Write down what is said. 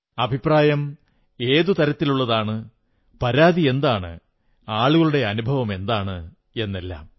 അഭിപ്രായം എത്തരത്തിലുള്ളതാണ് പരാതിയെന്താണ് ആളുകളുടെ അനുഭവം എന്താണ് എന്നെല്ലാം